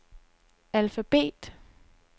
alfabet